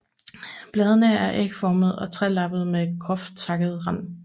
Bladene er ægformede og trelappede med groft takket rand